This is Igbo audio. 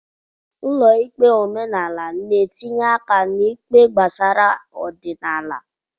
Ụlọ ikpe omenala n'etinye aka n'ikpe gbasara ọdịnala.